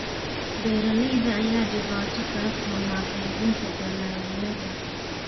Beeraleyda ayaa dhibaato kala kulma qeybinta dalagyada.